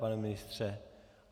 Pane ministře?